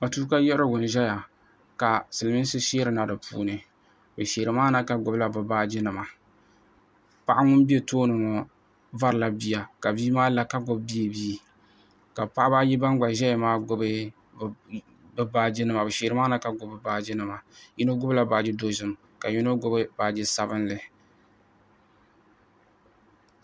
Matuuka yiɣirigu n ʒɛya ka silmiinsi sheeri na di puuni bi sheeri maa na ka gbubi la bi baaji nima paɣa ŋun bɛ tooni ŋɔ vari la bia ka bia maa la ka gbubi beebii ka paɣaba ayi ban gba ʒɛya maa gbubi bi baaji nima bi sheeri maa na ka gbubi bi baaji nima yino gbubi la baaji dozim ka yino gbubi baaji sabinli.